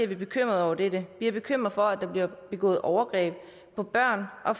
vi bekymrede over dette vi er bekymrede for at der bliver begået overgreb på børn og